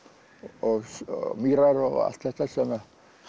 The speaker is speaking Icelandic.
og mýrar og allt þetta sem